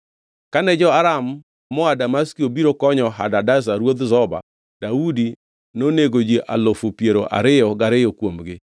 Kane jo-Aram moa Damaski obiro konyo Hadadezer ruodh Zoba, Daudi nonego ji alufu piero ariyo gariyo kuomgi.